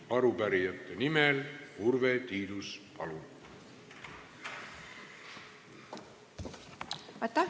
Arupärijate nimel Urve Tiidus, palun!